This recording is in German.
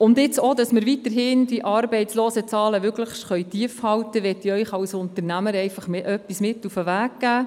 Und nun möchte ich Ihnen als Unternehmerin einfach etwas auf den Weg geben, damit wir die Arbeitslosenzahlen weiterhin möglichst tief halten können: